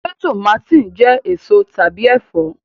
Se tùmátìn jẹ eso tàbí ẹfọ?